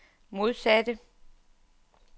modsatte